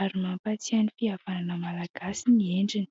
ary mampatsiahy ny fihavanana Malagasy ny endriny.